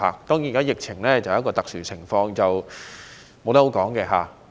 當然，現在的疫情是一個特殊情況，任誰也說不準。